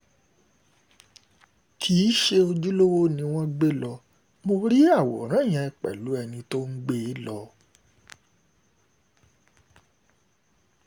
kì í ṣe ojúlówó ni wọ́n gbé lọ mọ́ rí àwòrán yẹn pẹ̀lú ẹni tó ń gbé e lọ